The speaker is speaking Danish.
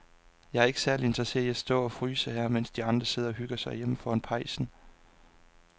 Jeg er ikke særlig interesseret i at stå og fryse her, mens de andre sidder og hygger sig derhjemme foran pejsen.